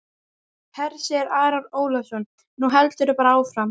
Hersir Aron Ólafsson: Nú heldurðu bara áfram?